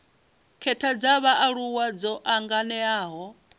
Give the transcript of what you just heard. khetha dza vhaaluwa dzo anganelaho